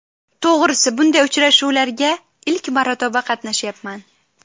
To‘g‘risi, bunday uchrashuvlarga ilk marotaba qatnashyapman.